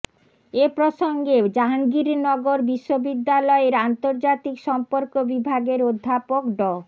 এ প্রসঙ্গে জাহাঙ্গীরনগর বিশ্ববিদ্যালয়ের আন্তর্জাতিক সম্পর্ক বিভাগের অধ্যাপক ড